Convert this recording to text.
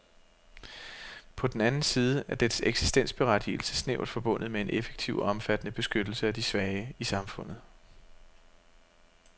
På den anden side er dets eksistensberettigelse snævert forbundet med en effektiv og omfattende beskyttelse af de svage i samfundet.